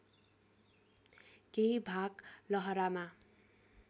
केही भाग लहरामा